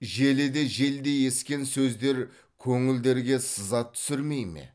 желіде желдей ескен сөздер көңілдерге сызат түсірмей ме